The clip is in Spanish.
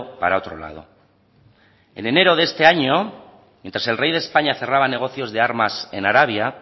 para otro lado en enero de este año mientas el rey de españa cerraba negocios de armas en arabia